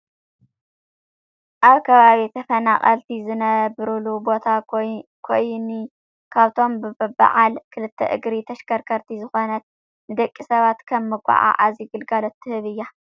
ኣብ ከባቢ ተፈናቀልቲ ዝነብሩሉ ቦታ ኮይኒ ካብቶም ብዓል ክልተ እግሪ ተሽካርካሪት ዝኮነት ንደቂ ሰባት ከም መጎዓዓዚ ግልጋሎት ትህብ እያ ።